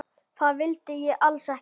Það vildi ég alls ekki.